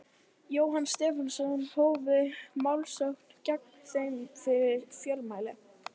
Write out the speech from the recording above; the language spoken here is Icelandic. Jóhann Stefánsson, hófu málsókn gegn þeim fyrir fjölmæli.